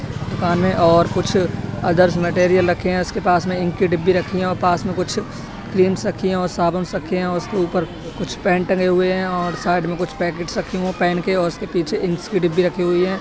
दुकान में और कुछ अदर्श मेटेरियल रखे हैं। उसके पास में इंक की डिब्बी रखी है औ पास में कुछ क्रीम्स रखी है औ साबुन्स रखे हैं औ उसके ऊपर कुछ पेन टंगे हुए हैं और साइड में कुछ पैकेट्स रखे हुए पेन के और उसके पीछे इंक्स की डिब्बी रखी हुई है।